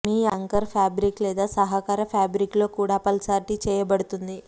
మీ anchor fabric లేదా సహకార ఫ్యాబ్రిక్లో కూడా అప్ఫాల్స్టరీ చేయబడుతుంది